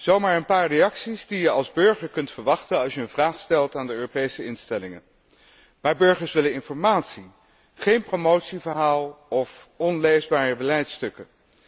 Zo maar een paar reacties die je als burger kunt verwachten als je een vraag stelt aan de Europese instellingen. Maar burgers willen informatie, geen promotieverhaal of onleesbare beleidstukken.